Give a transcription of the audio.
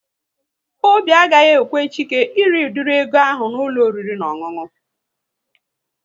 Obi agaghị ekwe Chike ịrị udiri ego ahụ n'ụlọ oriri na ọṅụṅụ